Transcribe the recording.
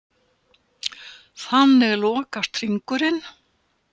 Þannig lokast hringurinn.